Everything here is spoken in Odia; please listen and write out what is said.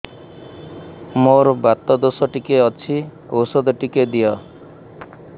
ମୋର୍ ବାତ ଦୋଷ ଟିକେ ଅଛି ଔଷଧ ଟିକେ ଦିଅ